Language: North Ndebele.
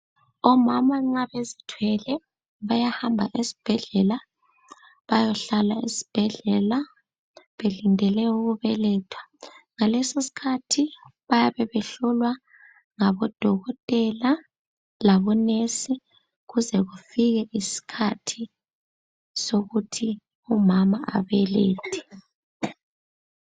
Omama nxa bezithwele, bayahamba esibhedlela bayohlala esibhedlela, belindele ukubeletha. Ngalesoskhathi bayabe behlolwa ngabodokotela labonesi, kuze kufike iskhathi sokuthi umama abelethe.